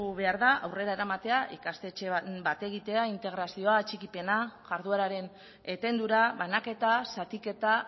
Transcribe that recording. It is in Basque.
behar da aurrera eramatea ikastetxe bat egitea integrazioa atxikipena jardueraren etendura banaketa zatiketa